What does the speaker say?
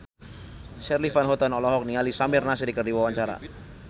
Charly Van Houten olohok ningali Samir Nasri keur diwawancara